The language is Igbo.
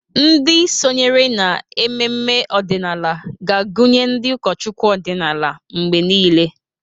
Ndị sonyere n'ememe ọdịnala ga-agụnye ndị ụkọchukwu ọdịnala mgbe niile.